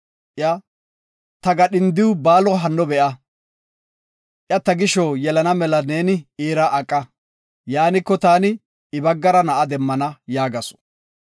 Iya, “Ta gadhindiw Baalo hinno be7a. Iya ta gisho yelana mela neeni iira aqa, yaaniko, taani I baggara na7a demmana” yaagasu.